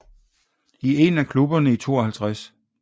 I en af klubberne i 52